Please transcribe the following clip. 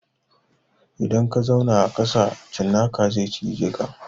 Idan ka zauna a ƙasa cinnaka zai cije ka.